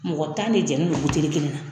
Mɔgɔ tan de jɛlen don buteli kelen na